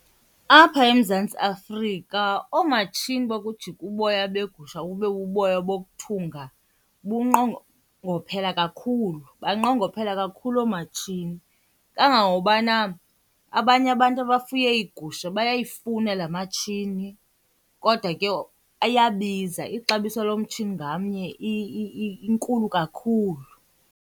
Apha eMzantsi Afrika oomatshini bokujika uboya begusha bube buboya bokuthunga bunqongophele kakhulu banqongophele kakhulu oomatshini. Kangangokubana abanye abantu abafuye iigusha bayayifuna laa matshini kodwa ke ayabiza, ixabiso lomtshini ngamnye inkulu kakhulu.